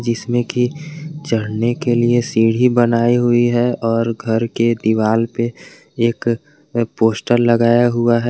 इसमें की चढ़ने के लिए सीढ़ी बनाई हुई है और घर के दीवाल पे एक पोस्टर लगाया हुआ है।